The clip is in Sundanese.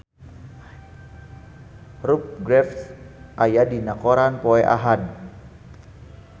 Rupert Graves aya dina koran poe Ahad